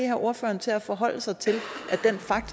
have ordføreren til at forholde sig til